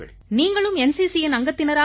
நீங்களும் NCCயின் அங்கத்தினராக